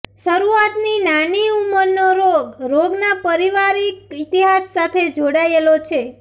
શરૂઆતની નાની ઉંમરનો રોગ રોગના પારિવારિક ઇતિહાસ સાથે જોડાયેલો છે